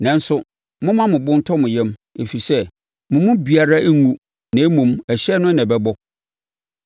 Nanso, momma mo bo ntɔ mo yam, ɛfiri sɛ, mo mu biara renwu na mmom, ɛhyɛn no na ɛbɛbɔ.